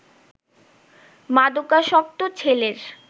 মাদকাসক্ত ছেলের